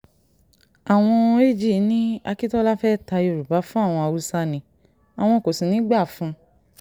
àwọn ag ní akíntola fẹ́ẹ́ ta yorùbá fún àwọn haúsá ni àwọn kò sì ní í gbà fún un